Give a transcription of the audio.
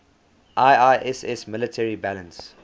iiss military balance